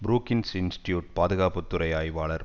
Brookings institute பாதுகாப்பு துறை ஆய்வாளர்